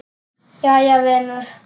Jæja vinur.